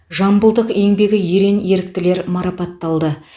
жамбылдық еңбегі ерен еріктілер марапатталды